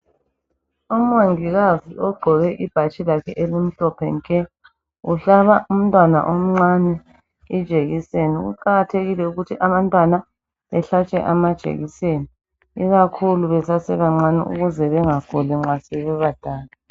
Umongikazi ugqoke ibhatshi lakhe elimhlophe nke uhlaba umntwana omncane injekiseni, kuqakathekile ukuthi abantwana behlatshwe amajekiseni ikakhulu besasebancane ukuze bangaguli nxasebebadala.